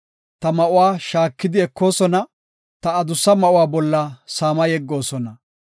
Ta ma7uwa shaakidi ekoosona; ta adussa ma7uwa bolla saama yeggoosona.